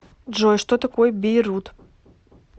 джой что такое бейрут